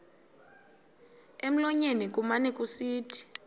emlonyeni kumane kusithi